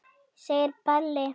segir Palli.